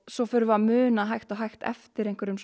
svo förum við að muna hægt og hægt eftir einhverjum